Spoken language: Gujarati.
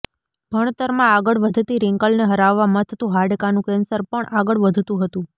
ભણતરમાં આગળ વધતી રિંકલને હરાવવા મથતું હાડકાનું કેન્સર પણ આગળ વધતું હતું